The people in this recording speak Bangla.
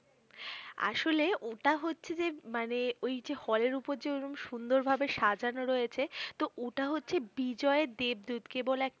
আসলে ওটা হচ্ছে যে মানে ওই যে হলের উপর যে ঐরকম সুন্দরভাবে সাজানো রয়েছে তোহ ওটা হচ্ছে বিজয়ের দেবদূত কেবল এক